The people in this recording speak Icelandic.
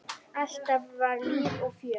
Alltaf var líf og fjör.